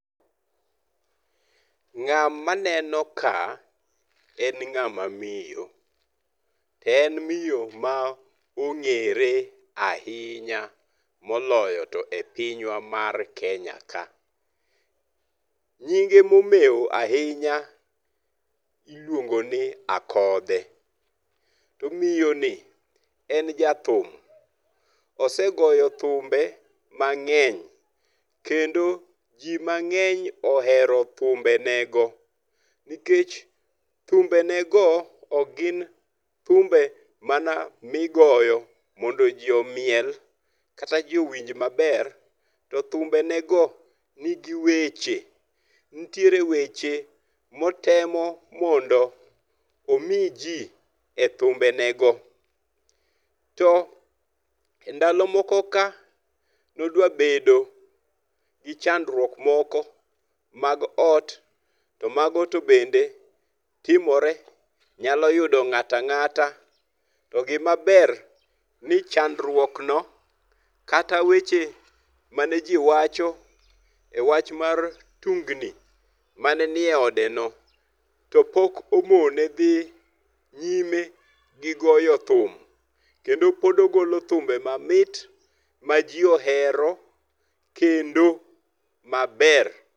Ng'ama aneno ka en ng'a ma miyo. To en miyo ma ong'ere ahinya moloyo to e pinywa mar Kenya ka. Nyinge momewo ahinya iluongo ni Akodhe. To miyo ni en ja thum. Osegoyo thumbe mang'eny kendo ji mang'eny ohero thumbe ne go. Nikech thumbe ne go ok gin thumbe mana migoyo mondo ji omiel kata ji owinj maber. To thumbe ne go ni gi weche, Nitiere weche motemo mondo omi ji e thumbe ne go. To endalo moko ka nodwa bedo gi chandruok moko mag ot to mago to bende timore. Nyalo yudo ng'ato ang'ata. To gima ber ni chandruok no kata weche mane ji wacho e wach mar tungni manenie ode no to pok omone dhi nyime gi goyo thum. Kendo pod ogolo thumbe ma mit ma ji ohero kendo maber.